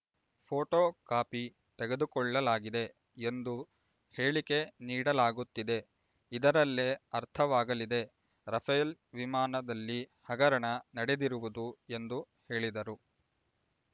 photo copy ತೆಗೆದುಕೊಳ್ಳಲಾಗಿದೆ ಎಂದು ಹೇಳಿಕೆ ನೀಡಲಾಗುತ್ತಿದೆ ಇದರಲ್ಲೇ ಅರ್ಥವಾಗಲಿದೆ ರಫೇಲ್ ವಿಮಾನದಲ್ಲಿ ಹಗರಣ ನಡೆದಿರುವುದು ಎಂದು ಹೇಳಿದರು